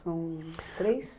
São três?